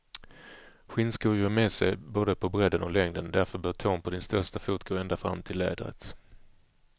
Skinnskor ger med sig både på bredden och längden, därför bör tån på din största fot gå ända fram till lädret.